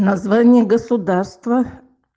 название государства